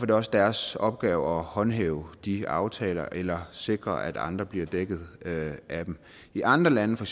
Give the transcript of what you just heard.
det også deres opgave at håndhæve de aftaler eller sikre at andre bliver dækket af dem i andre lande for